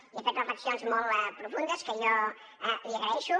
i ha fet reflexions molt profundes que jo li agraeixo